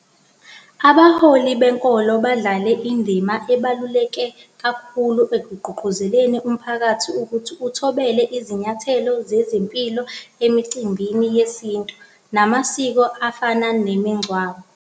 Abaholi benkolo badlale indima ebaluleke kakhulu ekugqugquzeleni umphakathi ukuthi uthobele izinyathelo zezempilo emicimbini yesintu namasiko efana nemingcwabo.